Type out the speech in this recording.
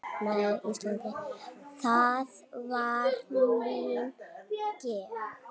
Það var mín gæfa.